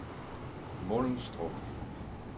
Mundelstrup